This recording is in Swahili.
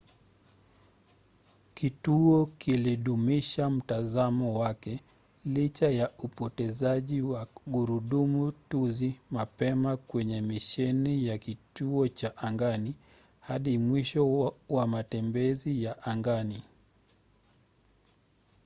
kituo kilidumisha mtazamo wake licha ya upotezaji wa gurudumu tuzi mapema kwenye misheni ya kituo cha angani hadi mwisho wa matembezi ya angani